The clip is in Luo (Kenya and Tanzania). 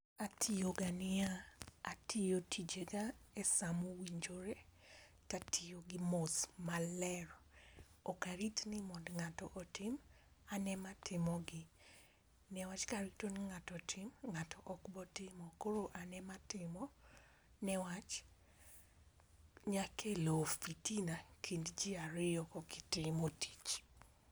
Atiyo ga niya, atiyo ga tije ga e samo winjore to atiyo gi mos ma ler ok arit ni mondo ngato mondo otim an e ma timo gi ne wach ka rito ni ngato otim ngato ok bo timo koro ne wach onyalo kelo fitina kind gi ariyo ka ok itimo tich.